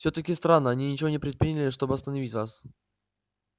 всё-таки странно они ничего не предприняли чтобы остановить вас